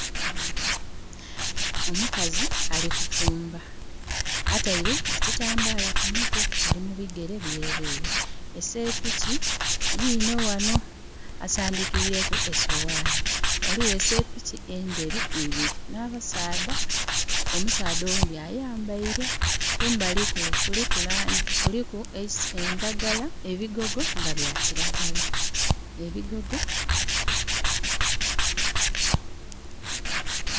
Omukazi ali kufumba. Ataire ekitambala ku mutwe. Ali mubigere byerere. Eseepiki yino ghano asandikireku esowani. Ghaliwo eseepiki enderu ibiri na basaadha. Omusaadha owundi ayambaire. Kumbali kule kuliku endagala, ebigogo nga bya kiragala. Ebigogo...